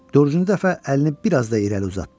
Dördüncü dəfə əlini bir az da irəli uzatdı.